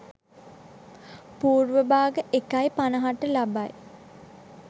පූර්ව භාග 01.50 ට ලබයි.